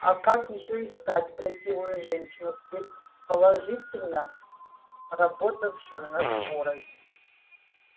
а как ещё искать красивую женщину предположительно работавшую на скорой